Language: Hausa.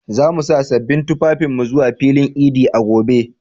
Za mu sa sabbin tufafinmu zuwa filin idi a gobe.